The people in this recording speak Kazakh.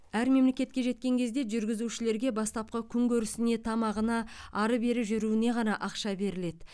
әр мемлекетке жеткен кезде жүргізушілерге бастапқы күнкөрісіне тамағына ары бері жүруіне ғана ақша беріледі